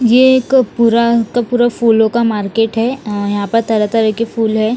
ये एक पूरा का पूरा फूलो का मार्केट है यहाँ पर तरहा तरह के फूल है।